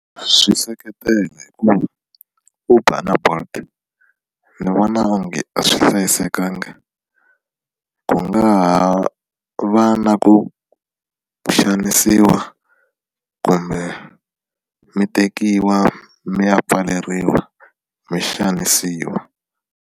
Swi seketela hikuva Uber na Bolt ni vona onge a swi hlayisekanga ku nga ha va na ku xanisiwa kumbe mi tekiwa mi ya pfaleriwa mi xanisiwa.